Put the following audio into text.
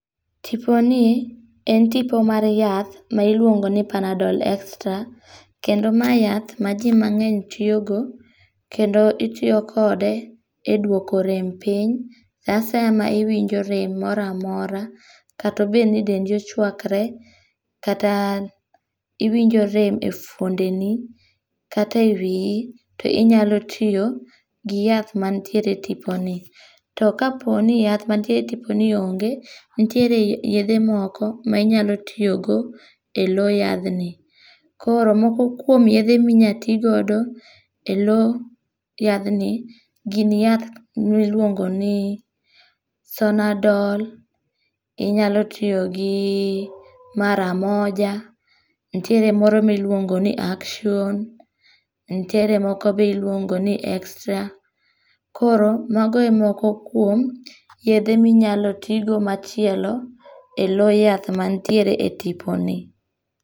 Tiponi, en tipo mar yath ma iluongo ni Panadol extra. Kendo mae yath ma ji mangény tiyogo, kendo itiyokode e duoko rem piny. Saa asaya ma iwinj rem moro amora, kata obed ni dendi ochwakre, kata iwinjo rem e fuondeni kata e wii, to inyalo tiyo gi yath mantiere e tiponi. To ka po ni yath mantiere e tiponi ongé, to nitiere yedhe moko, ma inyalo tiyogo e loo yadhni. Koro, moko kuom yethe minyalo ti godo e loo yadhni gin yath miluongoni Sonadol, inyalo tiyogi Maramoja, nitiere moro miluongoni Action, nitiere moko be iluongoni extra. Koro mago e moko kuom, yedhe minyalo ti go machielo, e loo yath mantiere e tiponi.